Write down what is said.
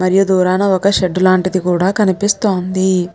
మరియు దూరాన ఒక్క షేడ్ లాంటిది కూడా కనిపిస్తోంది.